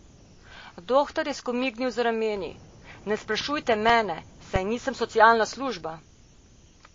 Dohtar je skomignil z rameni: 'Ne sprašujta mene, saj nisem socialna služba.